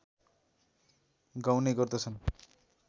गाउने गर्दछन्